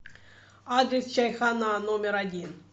адрес чайхона номер один